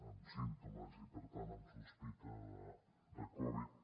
amb símptomes i per tant amb sospita de covid